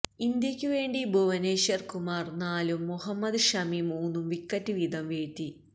ഇന്ത്യക്ക് വേണ്ടി ഭുവനശ്വർ കുമാർ നാലും മുഹമ്മദ് ഷമി മൂന്നും വിക്കറ്റ് വീതം വീഴ്ത്തി